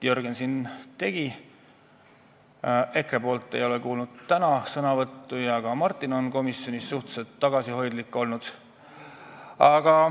Jürgen tegi kõne, EKRE sõnavõttu ei ole me täna kuulnud ja ka Martin on komisjonis suhteliselt tagasihoidlik olnud.